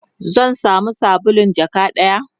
zan samu sabulun jaka ɗaya?